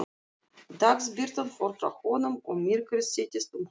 Dagsbirtan fór frá honum og myrkrið settist um hann.